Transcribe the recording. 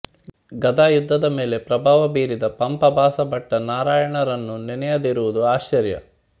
ಗದಾಯುದ್ಧ ದ ಮೇಲೆ ಪ್ರಭಾವ ಬೀರಿದ ಪಂಪ ಭಾಸ ಭಟ್ಟ ನಾರಾಯಣರನ್ನು ನೆನೆಯದಿರುವುದು ಆಶ್ಚರ್ಯ